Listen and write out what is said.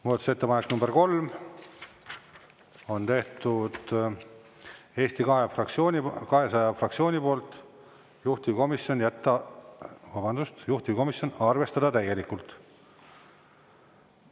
Muudatusettepaneku nr 3 on teinud Eesti 200 fraktsioon, juhtivkomisjon: arvestada täielikult.